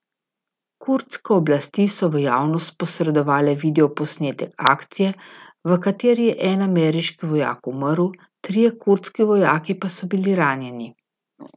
Kurdske oblasti so v javnost posredovale video posnetek akcije, v kateri je en ameriški vojak umrl, trije kurdski vojaki pa so bili ranjeni.